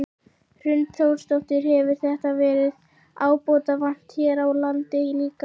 Hrund Þórsdóttir: Hefur þessu verið ábótavant hér á landi líka?